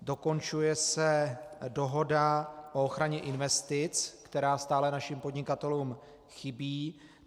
Dokončuje se dohoda o ochraně investic, která stále našim podnikatelům chybí.